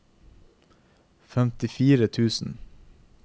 femtifire tusen